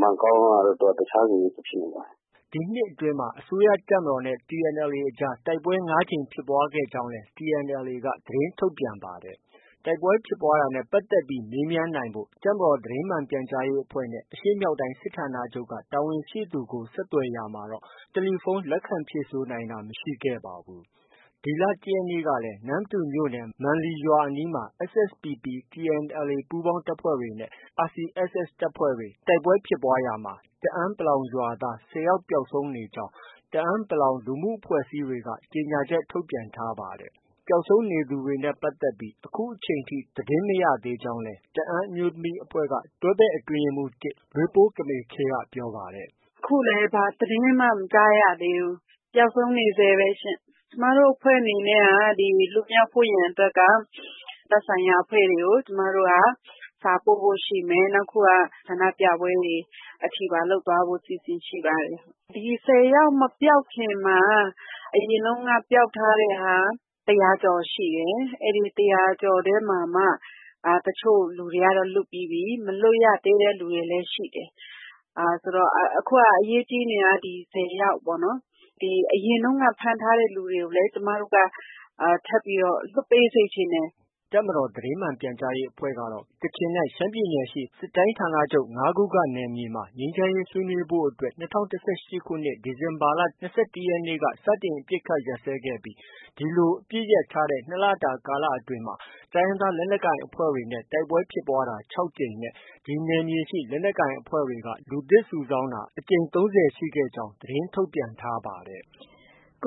မန်ကောင်းကတော့ တစ်ခြားစီ ဖြစ်နေပါတယ်။” ဒီနှစ်အတွင်းမှာ အစိုးရတပ်မတော်နဲ့ TNLA အကြား တိုက်ပွဲ ၅ကြိမ်ဖြစ်ခဲ့ကြောင်းလည်း TNLA က သတင်းထုတ်ပြန်ထားပါတယ်။ တိုက်ပွဲဖြစ်ပွားတာနဲ့ ပတ်သက်ပြီး တပ်မတော်သတင်းမှန်ပြန်ကြားရေးအဖွဲ့နဲ့ အရှေ့မြောက်တိုင်း စစ်ဌာနချုပ်က တာဝန်ရှိသူကို ဆက်သွယ်ရာမှာတော့ တယ်လီဖုန်း လက်ခံဖြေဆို နိုင်တာ မရှိခဲ့ပါဘူး။ ဒီလ ၁ရက်နေ့ကလည်း နမ္မတူမြို့နယ် မန်လီရွာအနီး SSPP ၊ TNLA ပူးပေါင်းတပ်တွေနဲ့ RCSS တပ်တွေ တိုက်ပွဲဖြစ်ပွားရာမှာ တအန်း(ပလောင်)ရွာသား ၁၀ယောက် ပျောက်ဆုံးနေကြောင်း တအန်း(ပလောင်) လူမှုအဖွဲ့အစည်းတွေက ကြေညာချက် ထုတ်ပြန်ထားပါတယ်။ ပျောက်ဆုံးနေသူတွေနဲ့ ပတ်သက်ပြီး အခုချိန်ထိ သတင်းမရသေးကြောင်းလည်း တအန်းအမျိုးသမီးအဖွဲ့ က တွဲဖက် အတွင်းရေးမှုး ၁ လွေးပိုးကမေဲ့ခြိူင်း က ပြောပါတယ်။ “ အခုလည်း ဘာသတင်းမှ မကြားရသေးဘူး။ ပျောက်ဆုံးနေဆဲပဲရှင်။ ကျမတို့အဖွဲ့ အနေနဲ့က လွှတ်မြောက်ဖို့ရန်အတွက် သက်ဆိုင်ရာအဖွဲ့တွေကို ကျမတို့က စာပို့ဖို့ရှိမယ်။ နောက်တစ်ခု က ဆန္ဒပြပွဲတွေ အထိပါ လုပ်သွားဖို့ အစီအစဉ်ရှိပါတယ်။ ဒီ ၁၀ယောက် မပျောက်ခင်မှာ အရင်တုန်း က ပျောက်ထားတဲ့ဟာ ၁၀၀ကျော် ရှိတယ်။ အဲဒီ ၁၀၀ကျော် ထဲမှာမှ တချို့လူတွေကတော့ လွတ်ပြီးပြီ။ မလွတ်ရသေးတဲ့လူတွေကလည်း ရှိသေးတယ်။ အခုက အရေးကြီးနေတာ က ဒီ ၁၀ယောက်ပေါ့နော်။ အရင်တုံးက ဖမ်းထားတဲ့လူတွေကိုလည်း ကျမတို့က ထပ်ပြီးတော့ လွှတ်ပေးစေချင်တယ်။” တပ်မတော်သတင်းမှန်ပြန်ကြားရေးအဖွဲ့ကတော့ ကချင်နဲ့ ရှမ်းပြည်နယ်ရှိ စစ်တိုင်းဌာနချုပ် ၅ခုနယ်မြေမှာ ငြိမ်းချမ်းရေးဆွေးနွေးဖို့ ၂၀၁၈ခုနှစ် ဒီဇင်ဘာလ ၂၁ရက်နေ့က စတင် အပစ်အခတ်ရပ်စဲခဲ့ပြီး ဒီလို အပစ်ရပ်ထား တဲ့ ၂လတာကာလ အတွင်းမှာ တိုင်းရင်းသားလက်နက်ကိုင် အဖွဲ့တွေနဲ့ တိုက်ပွဲဖြစ်ပွားတာ ၆ကြိမ်နဲ့ ဒီနယ်မြေရှိ လက်နက်ကိုင် အဖွဲ့တွေက လူသစ်စုဆောင်းတာ အကြိမ် ၃၀ရှိခဲ့ကြောင်း သတင်းထုတ်ပြန်ထား ပါတယ်။